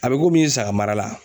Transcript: A be saga mara la.